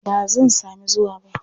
Ba zan sami zuwa ba.